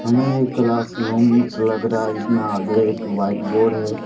मैं एक classroom लग रहा है जिसमे आगे एक व्हाइट बोर्ड है।